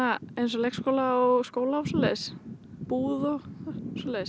leikskóla og skóla og svoleiðis búð og svoleiðis